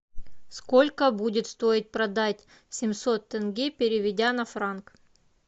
сколько будет стоить продать семьсот тенге переведя на франк